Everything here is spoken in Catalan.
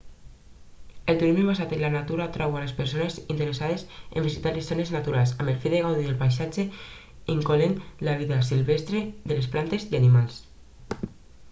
el turisme basat en la natura atrau a les persones interessades en visitar les zones naturals amb el fi de gaudir del paisatge incloent la vida silvestre de plantes i animals